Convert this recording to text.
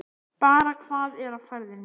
Bara hvað er á ferðinni?